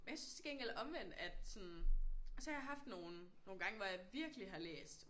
Og jeg synes til gengæld omvendt at sådan og så har jeg haft nogle nogle gange hvor jeg virkelig har læst